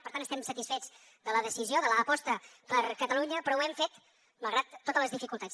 per tant estem satisfets de la decisió de l’aposta per catalunya però ho hem fet malgrat totes les dificultats